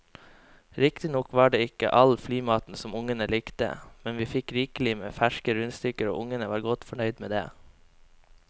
Riktignok var det ikke all flymaten som ungene likte, men vi fikk rikelig med ferske rundstykker og ungene var godt fornøyd med det.